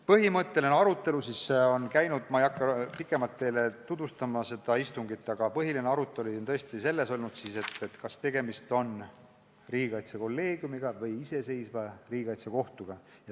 Põhimõtteline arutelu ongi käinud – ma ei hakka seda istungit teile pikemalt tutvustama – tõesti selle üle, kas tegemist on riigikaitsekolleegiumiga või iseseisva riigikaitsekohtuga.